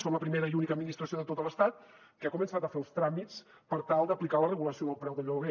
som la primera i única administració de tot l’estat que ha començat a fer els tràmits per tal d’aplicar la regulació del preu del lloguer